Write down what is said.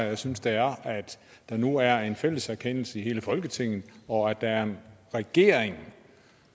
jeg synes det er at der nu er en fælles erkendelse i hele folketinget og at der er en regering